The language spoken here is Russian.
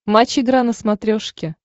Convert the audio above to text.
матч игра на смотрешке